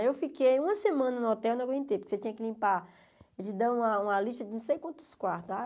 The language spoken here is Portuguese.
Aí eu fiquei uma semana no hotel e não aguentei, porque você tinha que limpar, eles dão uma uma lista de não sei quantos quartos ah.